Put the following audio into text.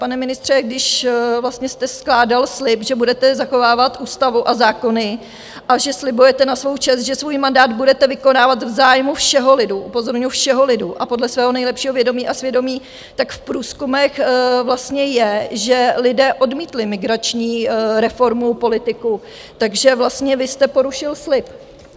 Pane ministře, když vlastně jste skládal slib, že budete zachovávat ústavu a zákony a že slibujete na svou čest, že svůj mandát budete vykonávat v zájmu všeho lidu - upozorňuju, všeho lidu a podle svého nejlepšího vědomí a svědomí - tak v průzkumech vlastně je, že lidé odmítli migrační reformu politiků, takže vlastně vy jste porušil slib.